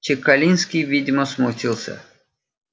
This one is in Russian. чекалинский видимо смутился